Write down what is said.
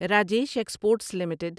Rajesh exports limited